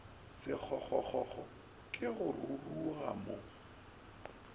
sekgokgokgo ke go roroga mo